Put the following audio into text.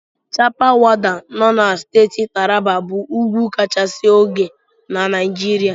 Chappal Waddi nọ na Steeti Taraba bụ ugwu kachisi ogo na Naijiria.